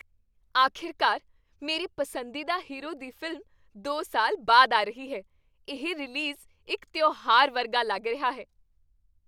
ਅਖੀਰਕਾਰ, ਮੇਰੇ ਪਸੰਦੀਦਾ ਹੀਰੋ ਦੀ ਫ਼ਿਲਮ ਦੋ ਸਾਲ ਬਾਅਦ ਆ ਰਹੀ ਹੈ, ਇਹ ਰਿਲੀਜ਼ ਇੱਕ ਤਿਉਹਾਰ ਵਰਗਾ ਲੱਗ ਰਿਹਾ ਹੈ